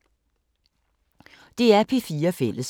DR P4 Fælles